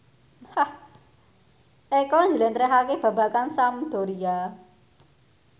Eko njlentrehake babagan Sampdoria